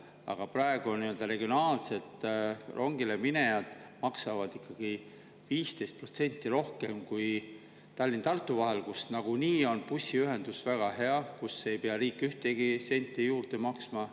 Aga praegu nii-öelda regionaalsed rongile minejad maksavad ikkagi 15% rohkem kui Tallinna ja Tartu vahel, kus nagunii on bussiühendus väga hea, kus ei pea riik ühtegi senti juurde maksma.